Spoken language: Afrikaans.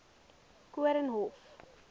koornhof